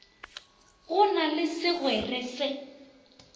go na le segwere se